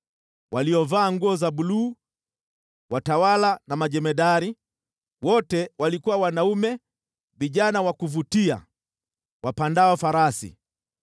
waliovaa nguo za buluu, watawala na majemadari, wote walikuwa wanaume vijana wa kuvutia, wapandao farasi.